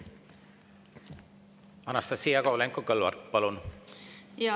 Anastassia Kovalenko-Kõlvart, palun!